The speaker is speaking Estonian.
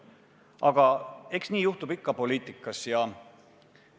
Aga eks seda poliitikas ikka juhtub.